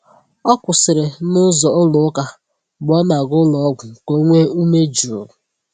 O kwụsịrị n’ụzọ ụlọ ụka mgbe ọ na-aga ụlọọgwụ ka o nwee ume jụụ.